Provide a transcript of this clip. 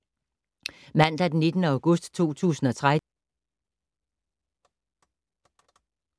Mandag d. 19. august 2013